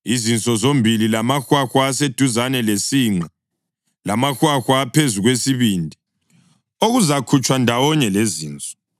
izinso zombili lamahwahwa aseduzane lesinqe lamahwahwa aphezu kwesibindi, okuzakhutshwa ndawonye lezinso.